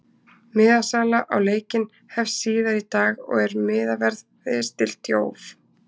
MIðasala á leikinn hefst síðar í dag og er miðaverði stillt í hóf.